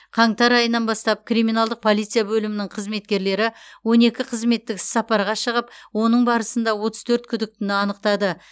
қаңтар айынан бастап криминалдық полиция бөлімінің қызметкерлері он екі қызметтік іссапарға шығып оның барысында отыз төрт күдіктіні анықтады